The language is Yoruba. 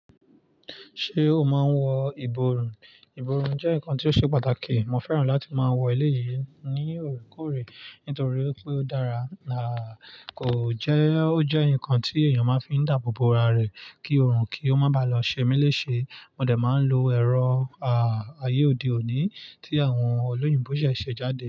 Ṣé o máa ń wọ ìborùn? Ìborùn jẹ́ ǹkan tí ó ṣe pàtàkì. Mo fẹ́ràn láti máa wọ eleyi ní òrekoore nítorí pé ó dára. À kò jẹ́, ó jẹ́ ǹkan tí èèyàn máa fi ń dàbòbò ara rẹ̀ kí ọrùn kí ó má ba lọ ṣe mí léṣe. Mo de máa ń lo ẹ̀rọ ayé òde òní tí àwọn olóyìnbo ṣẹ̀ ṣe jáde.